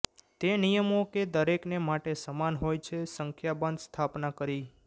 તે નિયમો કે દરેકને માટે સમાન હોય છે સંખ્યાબંધ સ્થાપના કરી